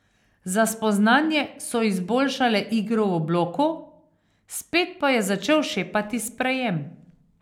Za spoznanje so izboljšale igro v bloku, spet pa je začel šepati sprejem.